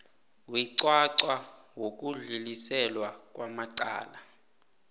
weqwaqwa wokudluliselwa kwamacala